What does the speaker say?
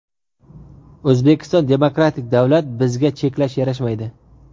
O‘zbekiston demokratik davlat bizga cheklash yarashmaydi.